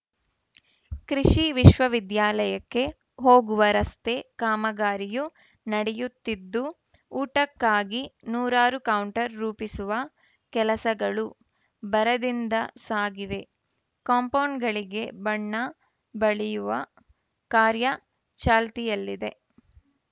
ಕೃಷಿ ವಿಶ್ವ ವಿದ್ಯಾಲಯಕ್ಕೆ ಹೋಗುವ ರಸ್ತೆ ಕಾಮಗಾರಿಯೂ ನಡೆಯುತ್ತಿದ್ದು ಊಟಕ್ಕಾಗಿ ನೂರಾರು ಕೌಂಟರ್‌ ರೂಪಿಸುವ ಕೆಲಸಗಳು ಭರದಿಂದ ಸಾಗಿವೆ ಕಾಂಪೌಂಡ್‌ಗಳಿಗೆ ಬಣ್ಣ ಬಳಿಯುವ ಕಾರ್ಯ ಚಾಲ್ತಿಯಲ್ಲಿದೆ